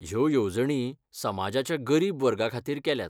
ह्यो येवजणी समाजाच्या गरीब वर्गाखातीर केल्यात .